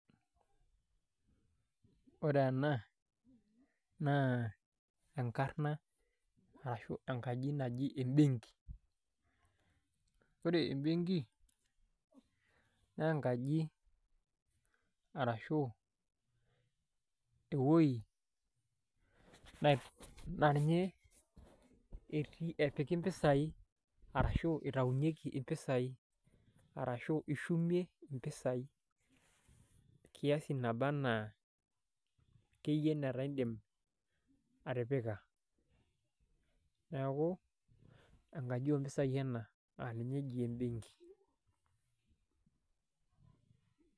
Ore ena naa enkarna ashuu enkaji naji embenki ore embenki naa enkaji arashuu ewueji naa ninye etii epiki impisai arashuu eitaunyieki impisai arashuu ishumie impisai kiasi nebanaa akeyie netaa indiim atipika neeku enkaji oompisai ena naa ninye eji embenki.